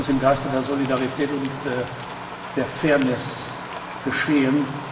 Das muss im Geiste der Solidarität und der Fairness geschehen.